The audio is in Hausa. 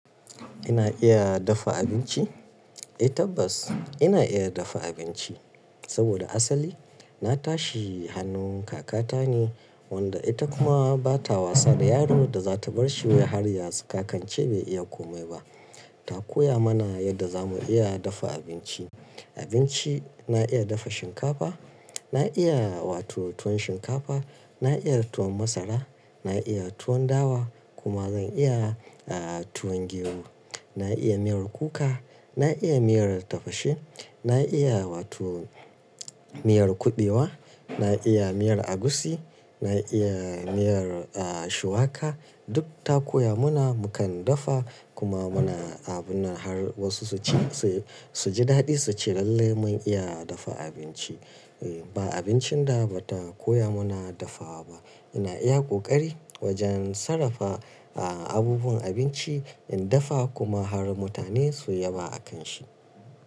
Ina iya dafa abinci? Eh tabbas ina iya dafa abinci. Saboda asali na tashi hannun kakata ne wanda ita kuma ba ta wasa da yaron da za ta bar shi ya hari ya saka kance bai iya komai ba. Ta koya mana yadda zamu iya dafa abinci. Abinci na iya dafa shinkafa, na iya wato tuwon shinkafa, na iya tuwon masara, na iya tuwon dawa kuma zan iya aah tuwon gero. Na iya miyar kuka, na iya miyar tafashe, na iya wato miyar kuɓewa, na iya miyar agusi, na iya miyar aah shuwaka. Duk ta koya mana mukan dafa kuma muna abuna har wasu su ci su ji daɗi su ce lallai mun iya dafa abinci. E ba abincin da bata koya mana dafawa ba. Ina iya ƙoƙari wajen sarrafa aah abubuwan abinci in dafa kuma har mutane su yaba a kan shi.